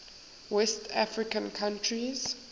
west african countries